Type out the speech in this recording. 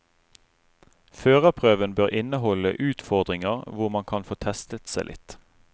Førerprøven bør inneholde utfordringer hvor man kan få testet seg litt.